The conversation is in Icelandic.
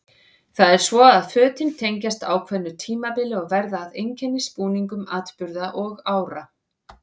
Það er svo að fötin tengjast ákveðnu tímabili og verða að einkennisbúningum atburða og ára.